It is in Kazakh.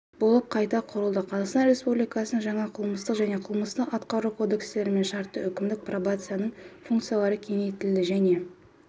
болып қайта құрылды қазақстан республикасының жаңа қылмыстық және қылмыстық-атқару кодекстерімен шартты-үкімдік пробацияның функциялары кеңейтілді және